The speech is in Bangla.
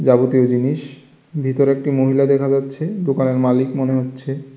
যাবতীয় জিনিস ভিতরে একটি মহিলা দেখা যাচ্ছে দোকানের মালিক মনে হচ্ছে।